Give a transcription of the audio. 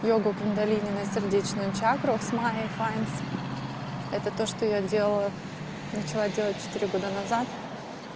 йога кундалини на сердечную чакру с майей файнс это то что я делала начала делать четыре года назад